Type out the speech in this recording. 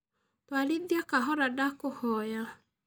Twarĩthĩa kahora ndakũhoya.